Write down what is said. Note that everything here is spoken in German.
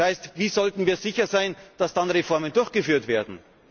wird. Das heißt, wie sollten wir sicher sein, dass dann Reformen durchgeführt werden?